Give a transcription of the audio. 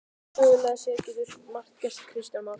Sögulega séð getur margt gerst Kristján Már?